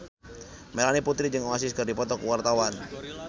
Melanie Putri jeung Oasis keur dipoto ku wartawan